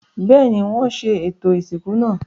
Bẹ́ẹ̀ni, wọ́n ṣe ètò ìsìnkú náà.